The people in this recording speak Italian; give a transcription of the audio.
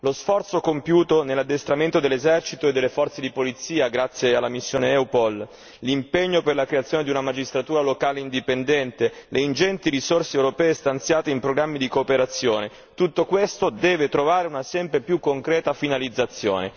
Lo sforzo compiuto nell'addestramento dell'esercito e delle forze di polizia, grazie alla missione Eupol, l'impegno per la creazione di una magistratura locale indipendente, le ingenti risorse europee stanziate in programmi di cooperazione, tutto questo deve trovare una sempre più concreta finalizzazione.